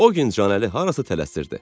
O gün Canəli harasa tələsirdi.